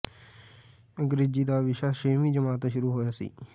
ਅੰਗਰੇਜ਼ੀ ਦਾ ਵਿਸ਼ਾ ਛੇਵੀਂ ਜਮਾਤ ਤੋਂ ਸ਼ੁਰੂ ਹੋਇਆ ਸੀ